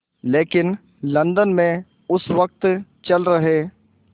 लेकिन लंदन में उस वक़्त चल रहे